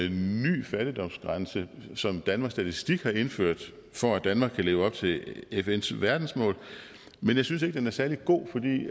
en ny fattigdomsgrænse som danmarks statistik har indført for at danmark kan leve op til fns verdensmål men jeg synes ikke den er særlig god fordi